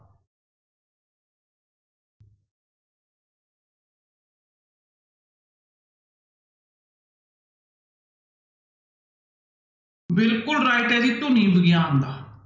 ਬਿਲਕੁਲ right ਹੈ ਜੀ ਧੁਨੀ ਵਿਗਿਆਨ ਦਾ।